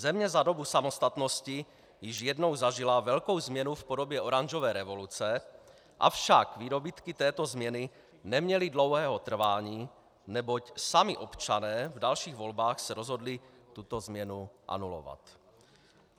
Země za dobu samostatnosti již jednou zažila velkou změnu v podobě oranžové revoluce, avšak výdobytky této změny neměly dlouhého trvání, neboť sami občané v dalších volbách se rozhodli tuto změnu anulovat.